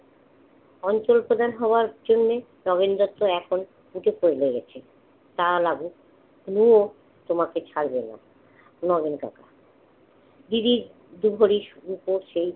অঞ্চল প্রধান হওয়ার জন্যে নগেনদারতো এখন প্রচুর problem আছে। তা লাগুক, তবুও তোমাকে ছাড়বে না নগেন কাকা। দিদির দু ভরি রুপো সেই